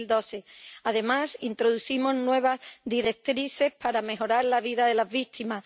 2012. Además, introducimos nuevas directrices para mejorar la vida de las víctimas.